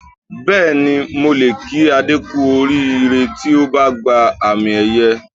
Bẹ́ẹ̀ni, mo lè kí Adé kú oríire tí ó bá gba àmì-ẹ̀yẹ